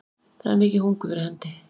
Það er mikið hungur fyrir hendi